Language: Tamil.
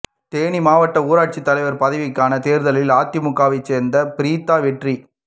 தேனி மாவட்ட ஊராட்சி தலைவர் பதவிக்கான தேர்தலில் அதிமுகவைச் சேர்ந்த பிரீத்தா வெற்றி